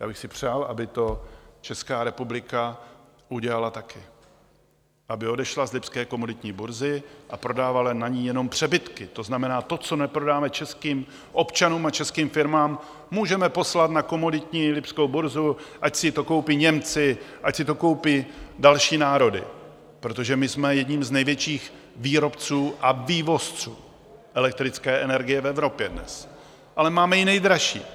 Já bych si přál, aby to Česká republika udělala taky, aby odešla z lipské komoditní burzy a prodávala na ní jenom přebytky, to znamená to, co neprodáme českým občanům a českým firmám, můžeme poslat na komoditní lipskou burzu, ať si to koupí Němci, ať si to koupí další národy, protože my jsme jedním z největších výrobců a vývozců elektrické energie v Evropě dnes, ale máme ji nejdražší.